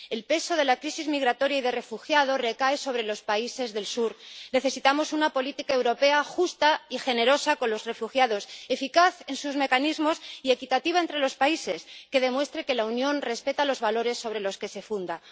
El peso de la crisis migratoria y de refugiados recae sobre los países del Sur. Necesitamos una política europea justa y generosa con los refugiados, eficaz en sus mecanismos y equitativa entre los países, que demuestre que la Unión respeta los valores sobre los que se funda.